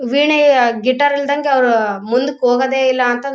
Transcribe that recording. ವೀಣೆಯ guitar ಇಲ್ದಂಗೆ ಅವರು ಮುಂದಕ್ಕೆ ಹೋಗೋದೇ ಇಲ್ಲ ಅಂತ--